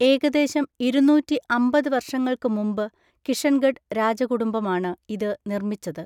ഏകദേശം ഇരുന്നൂറ്റി അമ്പത് വർഷങ്ങൾക്ക് മുമ്പ് കിഷൻഗഡ് രാജകുടുംബമാണ് ഇത് നിർമ്മിച്ചത്.